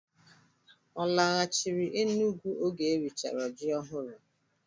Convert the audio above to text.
Ọ laghachiri Enugwu oge e richara ji ọhụrụ?